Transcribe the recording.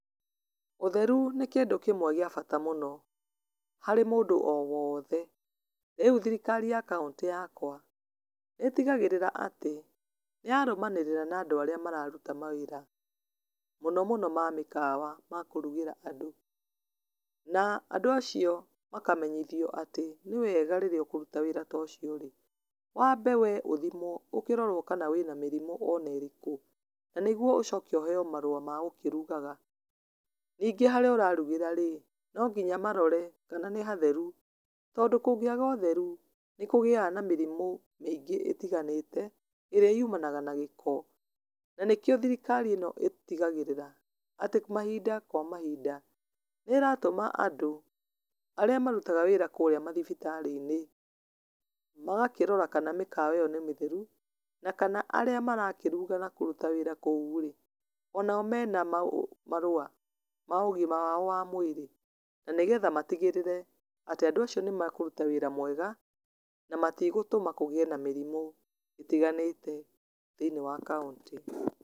Ũtherũ nĩ kĩndũ kĩmwe gĩa bata mũno harĩ mũndu o wothe. Rĩũ thirikari ya kauntĩ yakwa nĩ ĩtigagĩrĩra atĩ nĩyarũmanĩrĩra na andũ arĩa mararũta mawĩra mũno mũno ma mĩkawa ma kũrũgĩra andũ, na andũ acio makamenyithio atĩ nĩwega rĩrĩa ũkũrũta wĩra ta ũcio wambe wee ũthimwo ũkĩrorwo kana wĩ na mĩrimũ ona ĩrĩkũ nĩguo ũcoke ũheo marũa ma gũkĩrũgaga. Ningĩ harĩa ũrarugĩra-rĩ nonginya marore kana nĩ hatheru, tondũ kũngĩaga ũtheru nĩkũgiaga na mĩrimũ mĩingĩ ĩtiganĩte ĩrĩa yũmanaga na gĩko na nĩkio thirikari ino ĩtigagĩrĩra atĩ mahinda kwa mahinda nĩ ĩratũma andũ arĩa marutaga wĩra kũrĩa mathibitarĩ-inĩ magakĩrora kana mĩkawa iyo nĩ mĩtheru na kana arĩa marakĩruga na kũrũta wĩra kuũ-rĩ onao mena marũa ma ũgima wao wa mwĩrĩ na nĩgetha matigĩrĩre atĩ andũ acio ni makũrũta wĩra mwega na matigũtũma kũgĩe na mĩrimũ ĩtiganĩte thĩiniĩ wa kauntĩ.